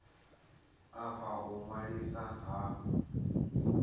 a fha u ṅwaliswa ha